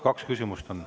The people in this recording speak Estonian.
Kaks küsimust on.